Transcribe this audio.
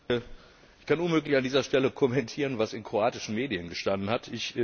Herr Präsident! Ich kann unmöglich an dieser Stelle kommentieren, was in kroatischen Medien gestanden hat.